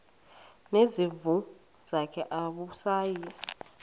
nezimvu zakhe awusayi